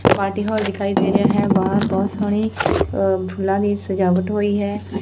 Party hall ਦਿਖਾਈ ਦੇ ਰਿਹਾ ਹੈ ਬਾਹਰ ਬਹੁਤ ਸੋਹਣੀ ਫੁੱਲਾਂ ਦੀ ਸਜਾਵਟ ਹੋਈ ਹੈ।